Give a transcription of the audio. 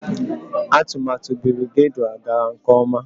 Atụmatụ Birigadiau gara nke ọma